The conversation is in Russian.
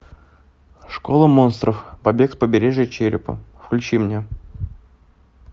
школа монстров побег с побережья черепа включи мне